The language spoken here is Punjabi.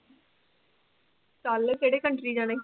ਚੱਲ ਕਿਹੜੇ country ਜਾਣਾ।